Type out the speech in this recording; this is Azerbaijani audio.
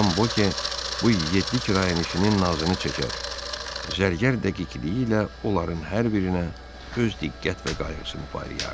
Madam Voke bu yeddi kirayəşinin nazını çəkər, zərgər dəqiqliyi ilə onların hər birinə öz diqqət və qayğısını paylayardı.